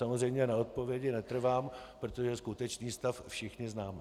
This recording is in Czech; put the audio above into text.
Samozřejmě na odpovědi netrvám, protože skutečný stav všichni známe.